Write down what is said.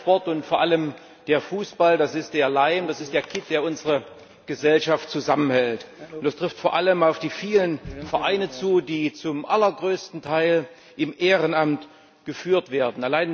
Nein, der Sport und vor allem der Fußball ist der Leim, der Kitt, der unsere Gesellschaft zusammenhält. Das trifft vor allem auf die vielen Vereine zu, die zum allergrößten Teil im Ehrenamt geführt werden.